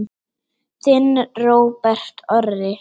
Þinn Róbert Orri.